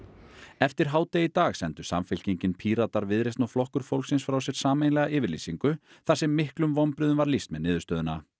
eftir hádegi í dag sendu Samfylkingin Píratar Viðreisn og Flokkur fólksins frá sér sameiginlega yfirlýsingu þar sem miklum vonbrigðum var lýst með niðurstöðuna